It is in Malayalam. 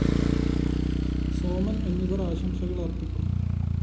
സോമന്‍ എന്നിവര്‍ ആശംസകള്‍ അര്‍പ്പിക്കും